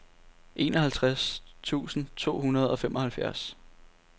enoghalvtreds tusind to hundrede og femoghalvfjerds